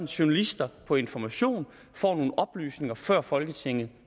journalister på information får nogle oplysninger før folketinget